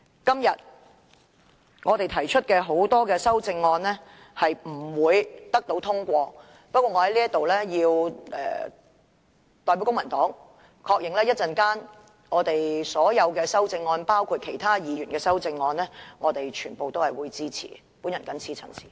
今天我們提出的多項修正案不會獲得通過，但我在此要代表公民黨確認，對於稍後將要表決的所有修正案包括其他議員的修正案，我們全部均會予以支持。